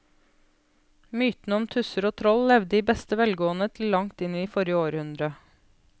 Mytene om tusser og troll levde i beste velgående til langt inn i forrige århundre.